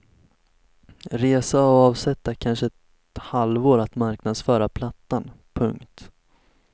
Resa och avsätta kanske ett halvår att marknadsföra plattan. punkt